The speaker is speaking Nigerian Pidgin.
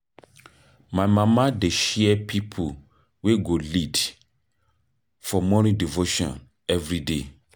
My mama dey share pipo wey go lead for morning devotion everyday.